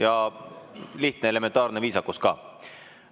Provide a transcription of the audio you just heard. Ja lihtne, elementaarne viisakus ka.